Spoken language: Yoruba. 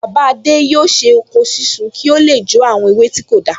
Bàbá adé yóò ṣe oko sísun ki o le jó àwọn ewé tí kò dáa